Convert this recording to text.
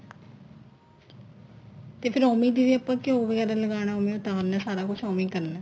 ਤੇ ਫੇਰ ਉਵੇ ਜਿਵੇਂ ਆਪਾਂ ਘਿਉ ਵਗੈਰਾ ਲਗਾਣਾ ਹੋ ਗਿਆ ਤਾਂ ਸਾਰਾ ਕੁੱਝ ਉਵੇ ਈ ਕਰਨਾ